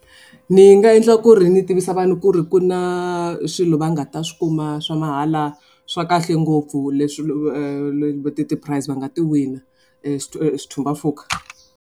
Ni nga endla ku ri ni tivisa vanhu ku ri ku na swilo va nga ta swi kuma swa mahala swa kahle ngopfu leswi ti-prize va nga ti wina mpfhuka.